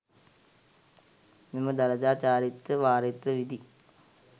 මෙම දළදා චාරිත්‍ර වාරිත්‍ර විධි